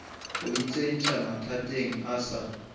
go itsentšha mathateng o sa